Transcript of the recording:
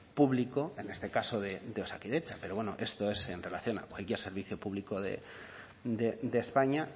público en este caso de osakidetza pero bueno esto es en relación a cualquier servicio público de españa